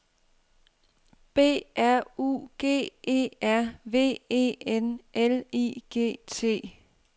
B R U G E R V E N L I G T